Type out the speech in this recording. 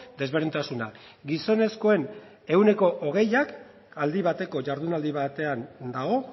desberdintasuna gizonezkoen ehuneko hogeiak aldi bateko jardunaldi batean dago